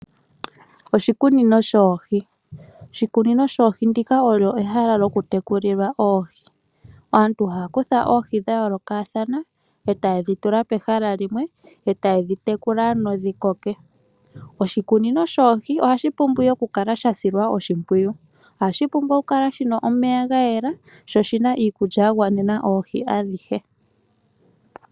Oshikunino shoohi ehala mpono hapu tekulilwa oohi. Aantu ihaya kutha oohi dha yoolokothana eta yiledhi tula pehala limwe nokudhitekula dhikoke. Oshikunino shoohi osha pumbwa okusilwa oshimpwiyu shi kale nomeya ga yela niikulya ya gwanena oohi adhihe.